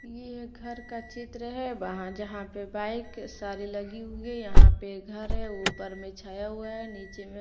ये घर का चित्र है वहां जहां पे बाइक सारी लगी हुई है यहां पे घर है ऊपर में छया हुआ है नीचे में--